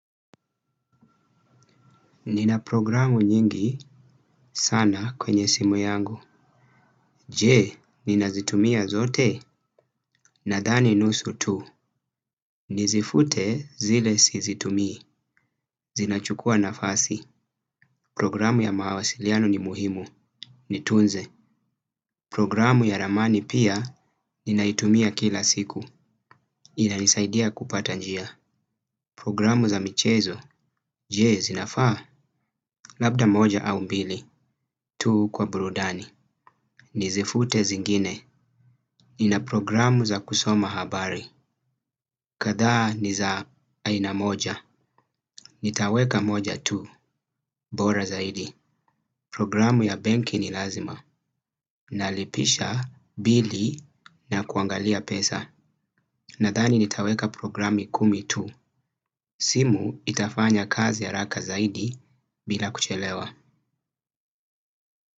Nina programu nyingi sana kwenye simu yangu. Jee, ninazitumia zote nadhani nusu tu. Nizifute zile sizitumi. Zinachukua nafasi. Programu ya mawasiliano ni muhimu. Nitunze. Programu ya ramani pia ninaitumia kila siku. Ina nisaidia kupata njia. Programu za michezo je, zinafaa. Labda moja au mbili tu kwa burudani. Nizifute zingine. Nina programu za kusoma habari. Kadhaa ni za aina moja. Nitaweka moja tu. Bora zaidi. Programu ya benki ni lazima. Nalipisha bili na kuangalia pesa. Nadhani nitaweka programu kumi tu. Simu itafanya kazi ya haraka zaidi bila kuchelewa.